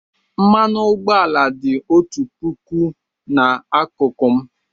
Mmanụ ụgbọala dị otu puku n'akụkụ m.